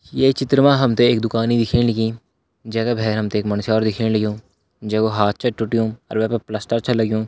ये चित्र मा हम तैं एक दुकान दिखेण लगीं जै का भैरा हम तैं एक मुन्स्यारू दिखेण लग्युं जै कू हाथ छा टूटयों और वे पर प्लास्टर छ लग्युं।